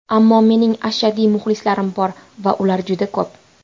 Ammo mening ashaddiy muxlislarim bor va ular juda ko‘p.